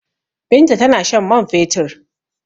Binta tana shan man fetur.